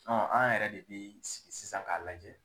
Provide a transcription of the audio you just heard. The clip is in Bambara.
an yɛrɛ de bɛ sigi sisan k'a lajɛ.